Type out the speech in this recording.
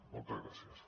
moltes gràcies